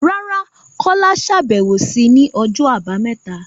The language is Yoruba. Rárá, Kola ṣàbẹ̀wò sí ní ọjọ́ Àbámẹ́ta